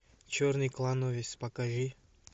черный клановец покажи